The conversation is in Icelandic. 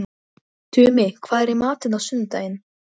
Hún lætur sem hún sjái hann ekki.